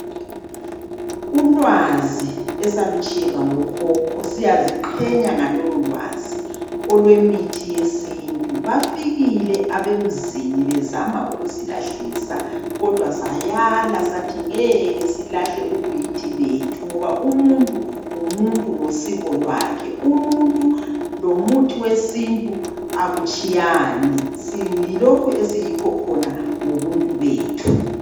Ulwazi esalutshiyelwa ngokhokho siyaziqhenya ngalololwazi olwemithi yesintu. Bafikile abemzini bezama ukusilahlisa kodwa sayala sathi ngeke silahle ubuyithi bethu ngoba umuntu ngumuntu ngosiko lwakhe. Umuntu lomuthi wesintu akutshiyani. Siyilokhu esiyikho khona ngobuntu bethu.